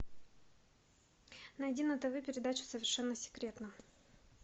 найди на тв передачу совершенно секретно